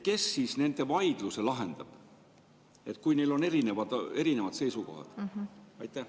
Kes siis nende vaidluse lahendab, kui neil on erinevad seisukohad?